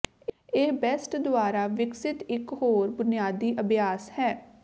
ਇਹ ਬੈਟਸ ਦੁਆਰਾ ਵਿਕਸਤ ਇੱਕ ਹੋਰ ਬੁਨਿਆਦੀ ਅਭਿਆਸ ਹੈ